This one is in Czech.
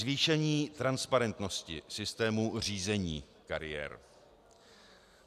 Zvýšení transparentnosti systému řízení kariér.